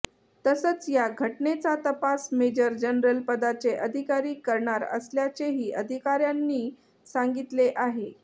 तसंच या घटनेचा तपास मेजर जनरल पदाचे अधिकारी करणार असल्याचेही अधिकाऱ्यांनी सांगितले आहे